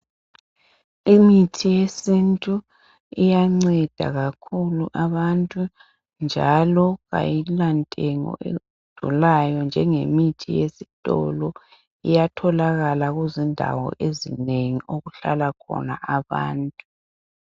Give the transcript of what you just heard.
imithi yesintu iyanceda kakhulu abantu njalo kayila ntengo edulayo njengemithi yesitolo iyatholakala kuzindawo ezinengi okuhlala khona abantu